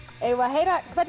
eigum við að heyra hvernig